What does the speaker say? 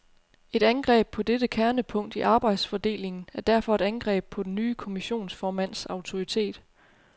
Et angreb på dette kernepunkt i arbejdsfordelingen er derfor et angreb på den nye kommissionsformands autoritet.